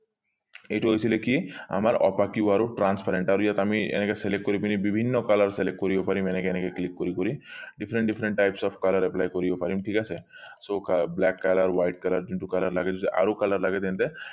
এইটো হৈছিলে কি আমাৰ transparent আৰু ইয়াত আমি এনেকে select কৰি পিনি বিভিন্ন color select কৰিব পাৰিম এনেকে এনেকে click কৰি কৰি different different types of color apply কৰিব পাৰিম ঠিক আছে so black color white color যোনটো color লাগে আৰু color লাগে তেন্তে